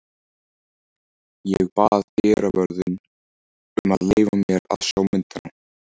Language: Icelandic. Ég bað dyravörðinn um að leyfa mér að sjá myndina.